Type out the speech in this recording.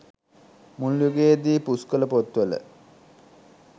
මුල් යුගයේදී පුස්කොළ පොත් වල